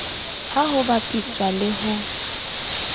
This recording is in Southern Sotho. ha ho bapiswa le ho